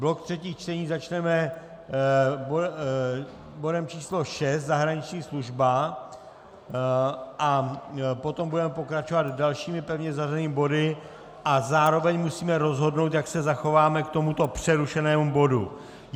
Blok třetích čtení začneme bodem číslo 6, zahraniční služba, a potom budeme pokračovat dalšími pevně zařazenými body a zároveň musíme rozhodnout, jak se zachováme k tomuto přerušenému bodu.